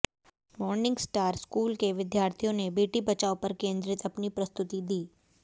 morning star school के विद्यार्थियों ने बेटी बचाओ पर केंद्रित अपनी प्रस्तुति दी